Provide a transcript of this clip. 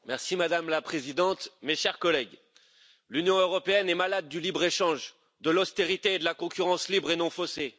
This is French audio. Madame la Présidente, mes chers collègues, l'Union européenne est malade du libre échange, de l'austérité et de la concurrence libre et non faussée.